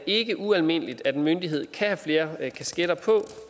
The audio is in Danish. ikke ualmindeligt at en myndighed kan have flere kasketter på